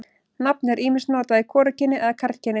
Nafnið er ýmist notað í hvorugkyni eða karlkyni.